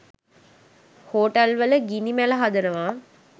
හෝටල්වල ගිනි මැල හදනවා.